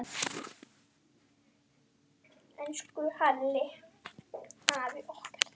Elsku Hjalli afi okkar.